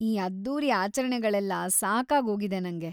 ಈ ಅದ್ದೂರಿ ಆಚರಣೆಗಳೆಲ್ಲ ಸಾಕಾಗೋಗಿದೆ ನಂಗೆ.